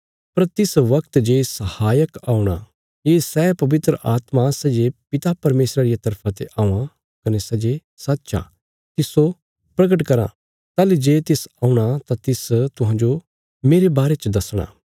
पर तिस बगत जे सहायक औणा ये सै पवित्र आत्मा सै जे पिता परमेशरा रिया तरफा ते औआं कने सै जे सच्च आ तिस्सो प्रगट करां ताहली जे तिस औणा तां तिस तुहांजो मेरे बारे च दसणा